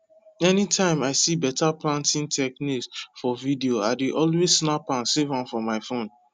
anytime i see better planting technique for video i dey always snap am save for my phone